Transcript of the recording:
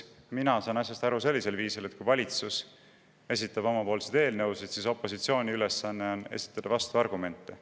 Mina saan asjast aru sellisel viisil, et kui valitsus esitab oma eelnõusid, siis on opositsiooni ülesanne esitada vastuargumente.